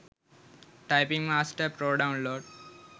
typing master pro download